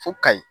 Fo kayi